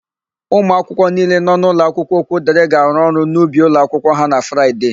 Ụmụakwụkwọ niile nọ n'ụlọakwụkwọ Okwudịrị ga-arụ ọrụ n'ubi ụlọakwụkwọ ha na Fraịde.